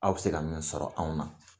Aw bɛ se ka min sɔrɔ anw na